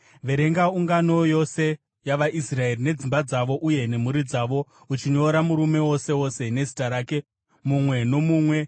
“Verenga ungano yose yavaIsraeri nedzimba dzavo uye nemhuri dzavo, uchinyora murume wose wose nezita rake, mumwe nomumwe.